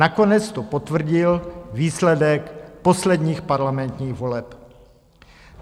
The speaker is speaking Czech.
Nakonec to potvrdil výsledek posledních parlamentních voleb.